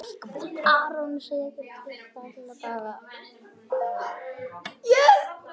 Fremur kalt.